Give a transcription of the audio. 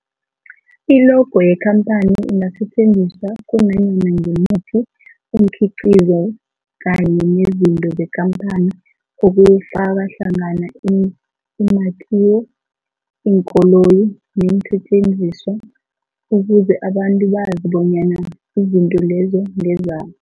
I-logo yekhaphani ingasetjenziswa kunanyana ngimuphi umkhiqizo kanye nezinto zekhamphani okufaka hlangana imakhiwo, iinkoloyi neesentjenziswa ukuze abantu bazi bonyana izinto lezo ngezabo.